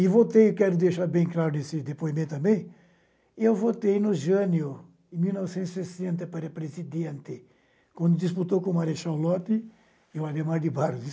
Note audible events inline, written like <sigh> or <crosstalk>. E voltei, e quero deixar bem claro nesse depoimento também, eu voltei no jânio em mil novecentos e sessenta para presidente, quando disputou com o Marechal Lope e o Ademar de <unintelligible>